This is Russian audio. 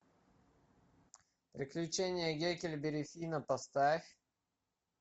приключение гекльберри финна поставь